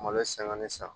Malo sanga ni san